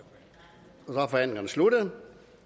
og så er forhandlingen sluttet